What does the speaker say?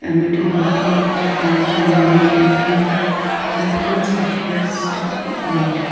a metal bucket and a blue and yellow paint can the grounds appears to uh wet.